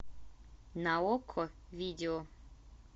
на окко видео